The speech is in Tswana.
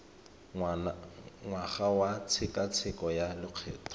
ngwaga wa tshekatsheko ya lokgetho